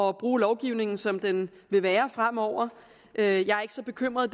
at bruge lovgivningen som den vil være fremover jeg er ikke så bekymret